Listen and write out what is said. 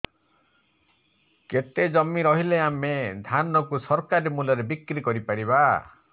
କେତେ ଜମି ରହିଲେ ଆମେ ଧାନ କୁ ସରକାରୀ ମୂଲ୍ଯରେ ବିକ୍ରି କରିପାରିବା